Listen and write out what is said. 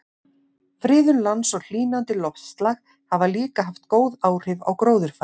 Friðun lands og hlýnandi loftslag hafa líka haft góð áhrif á gróðurfar.